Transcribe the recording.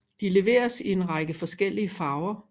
De leveres i en række forskellige farver